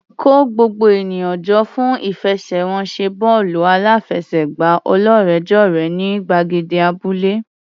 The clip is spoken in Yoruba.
Kó gbogbo ènìyàn jọ fún ìfẹsẹ̀wọnsẹ̀ bọ́ọ̀lù aláfẹsẹ̀gbá ọlọ́rẹ̀ẹ́jọ̀rẹ́ ní gbàgede abúlé.